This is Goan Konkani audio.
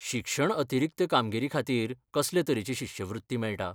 शिक्षण अतिरिक्त कामगिरी खातीर कसले तरेची शिश्यवृत्ती मेळटा?